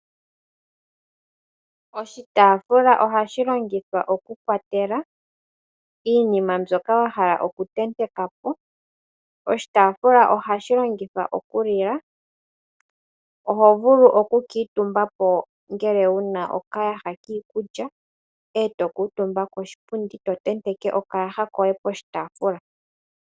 Oshitaafula ohashi longithwa oku kwatela iinima mbyoka wa hala oku tenteka po. Oshitaafula ohashi longithwa oku lila, oho vulu oku kuutumba po ngele wuna oka yaha kiikulya, e to kuutumba koshipundi to tenteke oka yaha koye poshitaafula.